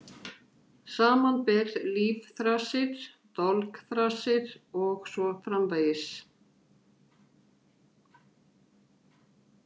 Samanber Lífþrasir, Dolgþrasir og svo framvegis.